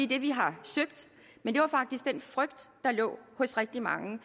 det vi har søgt men det var faktisk den frygt der lå hos rigtig mange